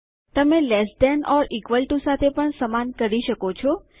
તમે less than or equal to લ્ટ સાથે પણ સમાન કરી શકો છો